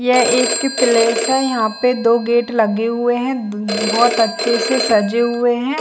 यह एक प्लेस है यहाँ पे दो गेट लगे हुए हैं ब बहुत अच्छे से सजे हुए हैं।